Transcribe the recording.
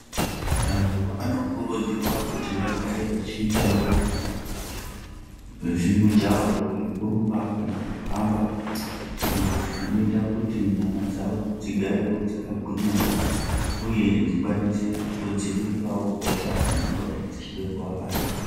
Vandu vanokurudzirwa kuti vagare vachiitawo zvimujaho zvekurumba kana kuhamba izvo zvinoita kuti nyama dzavo dzigarewo dzakagwinya uye dzikwanise kudzivirirawo hosha dzinongodayi dzichida kuvabata